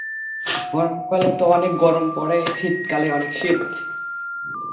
গরম কালে তো অনেক গরম পরে শীতকালে অনেক শীত